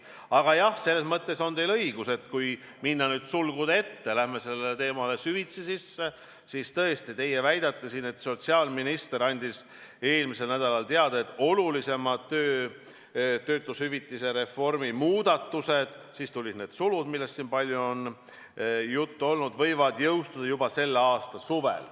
Aga jah, selles mõttes on teil õigus, et kui minna sulgude ette, sellesse teemasse süvitsi sisse, siis tõesti te väidate siin, et sotsiaalminister andis eelmisel nädalal teada, et olulisemad töötushüvitise reformi muudatused – siis tulid need sulud, millest siin palju on juttu olnud – võivad jõustuda juba sellel suvel.